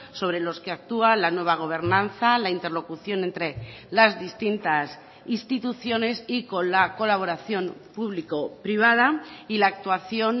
sobre los que actúa la nueva gobernanza la interlocución entre las distintas instituciones y con la colaboración público privada y la actuación